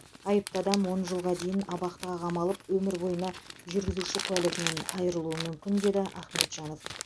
айыпты адам он жылға дейін абақтыға қамалып өмір бойына жүргізуші куәлігінен айырылуы мүмкін деді ахметжанов